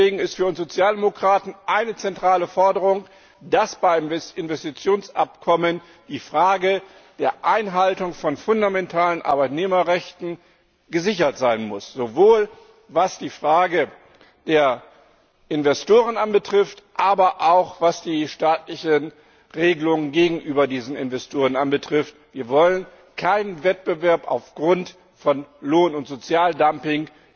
Deswegen ist es für uns Sozialdemokraten eine zentrale Forderung, dass beim Investitionsabkommen die Frage der Einhaltung von fundamentalen Arbeitnehmerrechten gesichert sein muss, sowohl was die Frage der Investoren anbetrifft, aber auch was die staatlichen Regelungen gegenüber diesen Investoren betrifft Wir wollen keinen Wettbewerb aufgrund von Lohn und Sozialdumping.